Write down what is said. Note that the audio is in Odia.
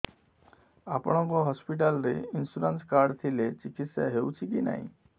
ଆପଣଙ୍କ ହସ୍ପିଟାଲ ରେ ଇନ୍ସୁରାନ୍ସ କାର୍ଡ ଥିଲେ ଚିକିତ୍ସା ହେଉଛି କି ନାଇଁ